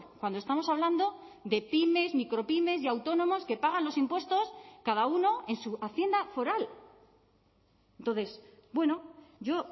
cuando estamos hablando de pymes micropymes y autónomos que pagan los impuestos cada uno en su hacienda foral entonces bueno yo